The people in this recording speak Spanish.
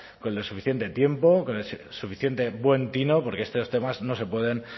con el suficiente tiempo con el suficiente buen tino porque estos temas no se pueden